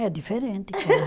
É diferente